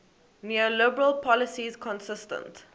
neoliberal policies consistent